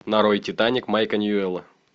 нарой титаник майка ньюэлла